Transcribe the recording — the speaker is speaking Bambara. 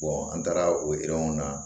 an taara o na